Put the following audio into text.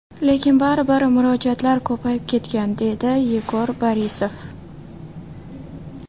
Lekin baribir murojaatlar ko‘payib ketgan”, – deydi Yegor Borisov.